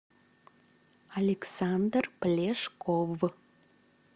александр плешков